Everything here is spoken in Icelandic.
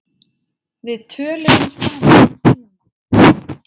Við töluðum saman í síma.